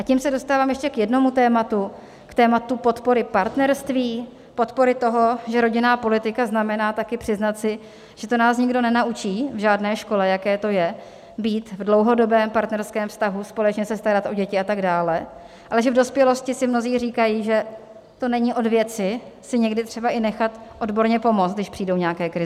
A tím se dostávám ještě k jednomu tématu, k tématu podpory partnerství, podpory toho, že rodinná politika znamená taky přiznat si, že to nás nikdo nenaučí v žádné škole, jaké to je, být v dlouhodobém partnerském vztahu, společně se starat o děti a tak dále, ale že v dospělosti si mnozí říkají, že to není od věci si někdy třeba i nechat odborně pomoct, když přijdou nějaké krize.